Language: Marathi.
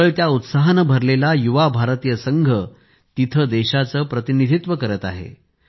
उसळत्या उत्साहाने भरलेला युवा भारतीय संघ तिथे देशाचे प्रतिनिधित्व करत आहे